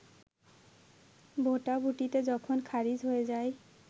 ভোটাভুটিতে যখন খারিজ হয়ে যায়